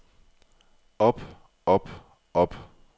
op op op